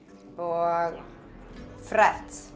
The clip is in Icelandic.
og